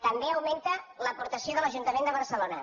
també augmenta l’aportació de l’ajuntament de barcelona